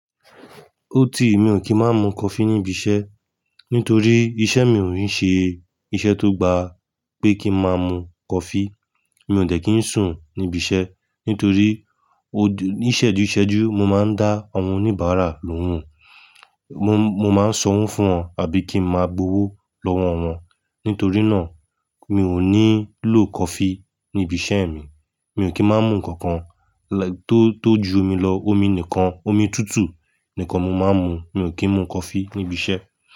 Ó ti, mi ò kí má mu coffee níbi iṣẹ́ nítorí iṣẹ́ mi ò n ṣe iṣẹ́ tó gba pé kí n má mu coffee. Mi ò de kí ń sùn níbi iṣẹ́ nítorí ó-- ní ìṣẹ́júṣẹ́jú, mo máa ń dá àwọn oníbàárà lóhùn. Mo, mo máa ń sanwọ́n fún wọn àbí kí n máa gbowó lọ́wọ́ wọn. Nítorí náà, mi ò nílò coffee ní ibi iṣẹ́ mi. Mi ò kí má mú nǹkan kan tó, tó ju omi lọ. Omi nìkan, omi tútù nìkan mo máa ń mu. Mi ò kí ń mu coffee níbi iṣẹ́.